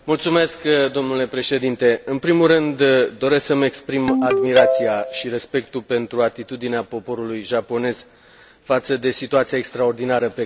În primul rând, doresc să îmi exprim admirația și respectul pentru atitudinea poporului japonez față de situația extraordinară pe care o traversează.